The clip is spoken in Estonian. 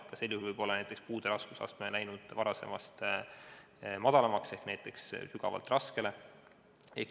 Ka sel juhul võib olla puude raskusaste läinud varasemast madalamaks, näiteks sügavalt raskele.